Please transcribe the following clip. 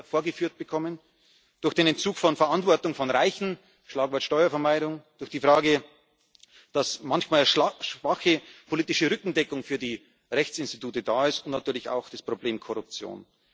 vorgeführt bekommen durch den Entzug von Verantwortung von Reichen Schlagwort Steuervermeidung durch die Frage, dass manchmal schwache politische Rückendeckung für die Rechtsinstitute da ist, und natürlich auch das Problem Korruption.